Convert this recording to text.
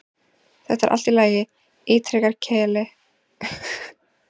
Þetta er allt í lagi, ítrekar Keli, bara augnablik.